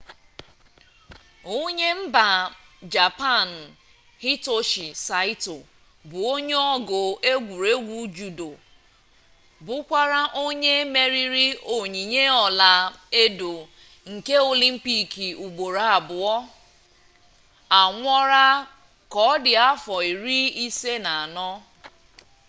onye mba japan hitoshi saịto bụ onye ọgụ egwuregwu judo bụkwa onye meriri onyinye ọla edo nke olimpik ugboro abụọ anwụọla ka ọ dị afọ iri ise na anọ